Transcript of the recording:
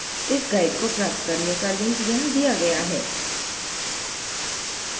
इस guide को प्राप्त करने का link यहाँ दिया गया है